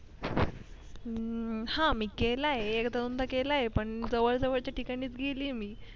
हम्म हा मी केलाय एक दोनदा केलाय पण जवळ जवळच्या ठिकाणीच केलीये मी